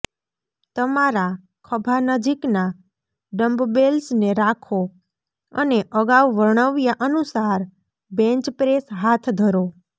તમારા ખભા નજીકના ડમ્બબેલ્સને રાખો અને અગાઉ વર્ણવ્યા અનુસાર બેન્ચ પ્રેસ હાથ ધરો